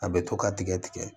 A bɛ to ka tigɛ tigɛ